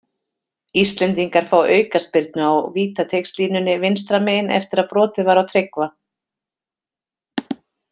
Íslendingar fá aukaspyrnu á vítateigslínunni vinstra megin eftir að brotið var á Tryggva.